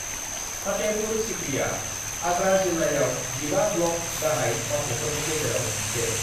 फतेहपुर सीकरीया आगरा जिल्लायाव जिबा ब्लक गाहाय मावख'फोरनि गेजेराव गंसे।